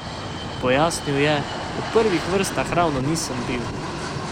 Pojasnil je: "V prvih vrstah ravno nisem bil.